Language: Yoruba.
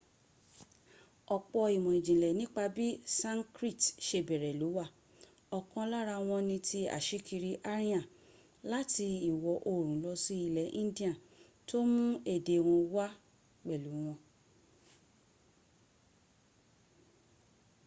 ọ̀pọ̀ ìmọ̀ ìjìnlẹ̀ nípa bí sankrit se bẹ̀rẹ̀ ló wà ọkàn lára wọn ni ti asíkiri aryan láti ìwọ̀ oòrùn lọ sí ilẹ̀ india tó mún èdè wọn wá pẹ̀lu wọn